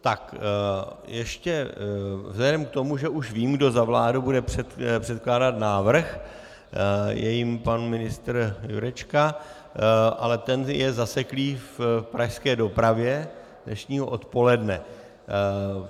Tak ještě vzhledem k tomu, že už vím, kdo za vládu bude předkládat návrh - je jím pan ministr Jurečka, ale ten je zaseklý v pražské dopravě dnešního odpoledne.